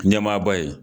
Ɲɛmaaba ye